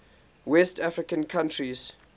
west african countries